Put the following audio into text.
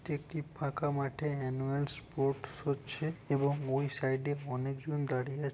একটি ফাঁকা মাঠে ম্যানুয়াল স্পোর্টস হচ্ছে এবং ওই সাইড এ অনেক জন দাঁড়িয়ে আ--